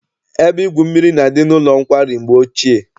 Ebe igwu mmiri na-adị n'ụlọ nkwari mgbe ochie?